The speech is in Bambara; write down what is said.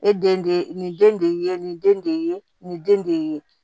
E den de ye nin den de ye nin den de ye